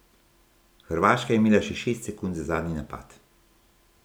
Hrvaška je imela še šest sekund za zadnji napad.